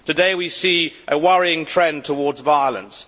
Today we see a worrying trend towards violence.